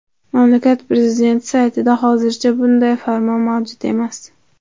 Mamlakat prezidenti saytida hozircha bunday farmon mavjud emas.